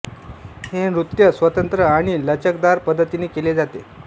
हे नृत्य स्वतंत्र आणि लचकदार पद्धतीने केले जाते